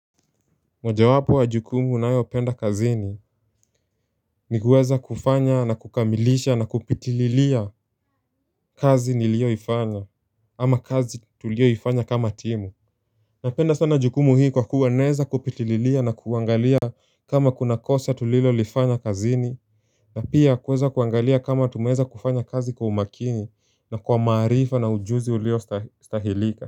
Mojawapo wa jukumu ninayo penda kazini ni kuweza kufanya na kukamilisha na kupitililia kazi nilioifanya ama kazi tulio ifanya kama timu Napenda sana jukumu hii kwa kuwa naeza kupitililia na kuangalia kama kuna kosa tulilo lifanya kazini na pia kuweza kuangalia kama tumeweza kufanya kazi kwa umakini na kwa maarifa na ujuzi ulio stahilika.